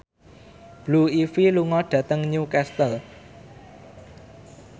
Blue Ivy lunga dhateng Newcastle